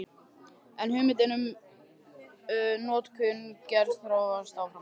En hugmyndin um notkun glers þróast áfram.